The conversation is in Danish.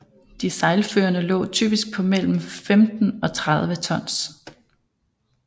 De sejlførende lå typisk på mellem 15 og 30 tons